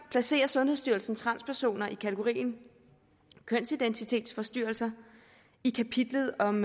placerer sundhedsstyrelsen transpersoner i kategorien kønsidentitetsforstyrrelser i kapitlet om